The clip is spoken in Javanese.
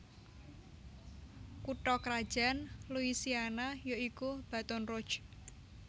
Kutha krajan Louisiana ya iku Baton Rouge